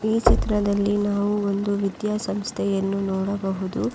ಈ ಚಿತ್ರದಲ್ಲಿ ನಾವು ಒಂದು ವಿದ್ಯಾಸಂಸ್ಥೆಯನ್ನು ನೋಡಬಹುದು.